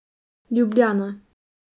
Ljubljana.